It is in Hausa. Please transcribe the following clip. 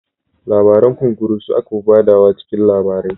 Labaran Kunkuru su aka fi ba da wa cikin labarai